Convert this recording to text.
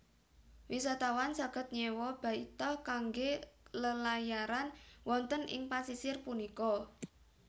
Wisatawan saged nyéwa baita kanggé lelayaran wonten ing pasisir punika